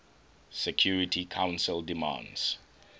security council demands